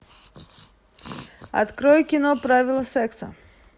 открой кино правила секса